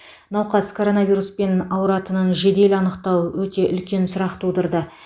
науқас коронавируспен ауыратынын жедел анықтау өте үлкен сұрақ тудырды